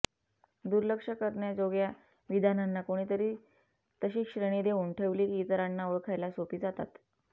दुर्लक्ष करण्याजोग्या विधानांना कोणीतरी तशी श्रेणी देऊन ठेवली की इतरांना ओळखायला सोपी जातात